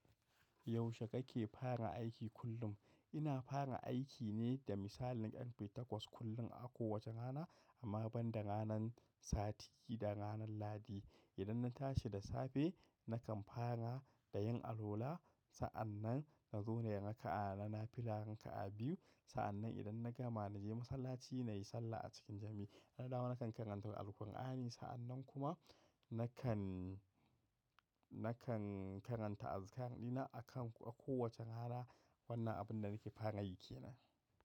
Yaushe kake fara aiki kullum? Ina fara aiki ne da misalin ƴan ƙarfe takwas kullum a kowace rana, amma ban da ranan sati da ranan lahadi. Idan na tashi da safe nakan fara da yin alwala. Sa’an nan na zo na yi raka’a. Na fi raka’a biyu. Sa’an nan idan na gama na je masallaci na yi sallah a cikin jam’i. Na dawo nakan karanta Alkur’ani. Sa’an nan kuma nakan, nakan karanta azikar dina a kan kowace rana. Wannan abin da nake fara yi kenan.